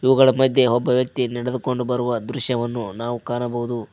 ಇವುಗಳ ಮಧ್ಯೆ ಒಬ್ಬ ವ್ಯಕ್ತಿ ನಡೆದುಕೊಂಡು ಬರುವ ದೃಶ್ಯವನ್ನು ನಾವು ಕಾಣಬಹುದು.